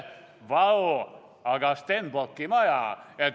Vau, aga Stenbocki maja!